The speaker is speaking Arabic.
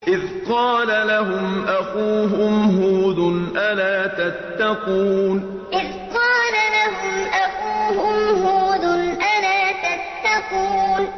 إِذْ قَالَ لَهُمْ أَخُوهُمْ هُودٌ أَلَا تَتَّقُونَ إِذْ قَالَ لَهُمْ أَخُوهُمْ هُودٌ أَلَا تَتَّقُونَ